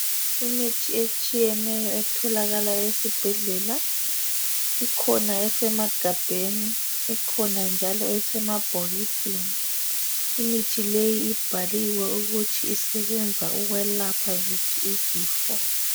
Imithi etshiyeneyo etholakala ezibhedlela ikhona esemagabheni ikhona njalo esemabhokisini imithi leyi ibhaliwe ukuthi isebenza ukwelapha ziphi izifo.